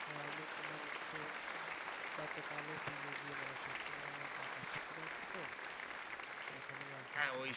হ্যাঁ আমি তোমার হচ্ছে গতকাল ও বিলে গিয়ে মাছ ধরছিলাম আমার কাকার পুকুর আছে তো ওখানে মাছ ধরছি